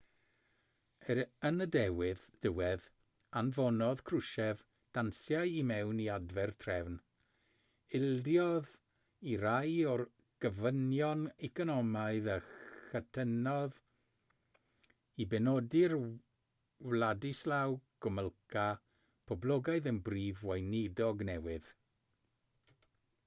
er yn y diwedd anfonodd krushchev danciau i mewn i adfer trefn ildiodd i rai o'r gofynion economaidd a chytunodd i benodi'r wladyslaw gomulka poblogaidd yn brif weinidog newydd